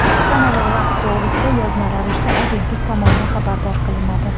sana va vaqt to‘g‘risida yozma ravishda Agentlik tomonidan xabardor qilinadi.